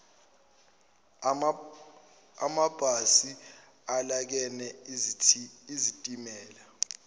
amabhasi alekene izitimela